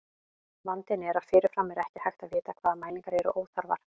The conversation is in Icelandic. Vandinn er að fyrirfram er ekki hægt að vita hvaða mælingar eru óþarfar.